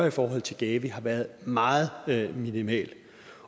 i forhold til gavi har været meget minimal